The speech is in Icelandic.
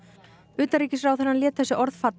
utanríkisráðherrann lét þessi orð falla